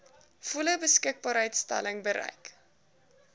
volle beskikbaarstelling bereik